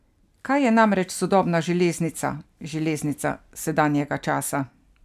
Kaj je namreč sodobna železnica, železnica sedanjega časa?